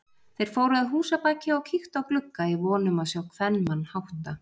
Þeir fóru að húsabaki og kíktu á glugga í von um að sjá kvenmann hátta.